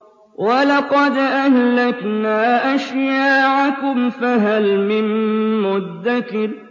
وَلَقَدْ أَهْلَكْنَا أَشْيَاعَكُمْ فَهَلْ مِن مُّدَّكِرٍ